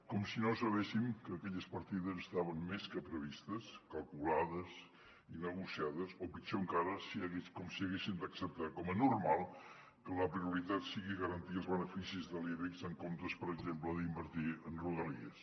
com si no sabéssim que aquelles partides estaven més que previstes calculades i negociades o pitjor encara com si haguéssim d’acceptar com a normal que la prioritat sigui garantir els beneficis de l’ibex en comptes per exemple d’invertir en rodalies